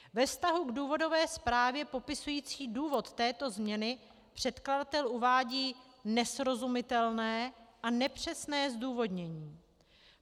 Ve vztahu k důvodové zprávě popisující důvod této změny předkladatel uvádí nesrozumitelné a nepřesné zdůvodnění.